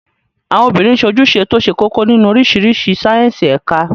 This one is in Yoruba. Àwọn obìnrin sojúse tó ṣe kókó nínú oríṣiríṣi sáíyẹ́nsì ẹ̀ka